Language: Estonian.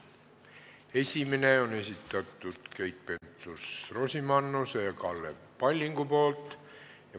Esimese on esitanud Keit Pentus-Rosimannus ja Kalle Palling.